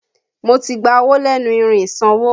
Mo ti gba owó lẹ́nu irin ìsanwó